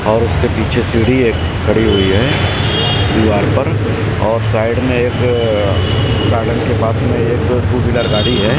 और उसके पीछे सीढ़ी एक खड़ी हुई है दीवार पर और साइड में एक गार्डन के पास में एक टू व्हीलर गाड़ी है।